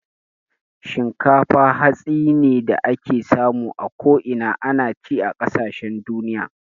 Shinkafa hatsi ne da ake samu a ko'ina. Ana ci a kasashen duniya